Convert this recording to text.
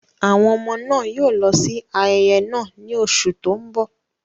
Àwọn ọmọ náà yóò lọ sí ayẹyẹ náà ní oṣù tó ń bọ̀.